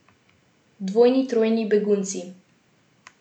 Dvojni, trojni begunci.